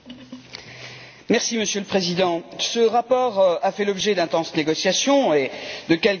Monsieur le Président, ce rapport a fait l'objet d'intenses négociations et de quelques désaccords.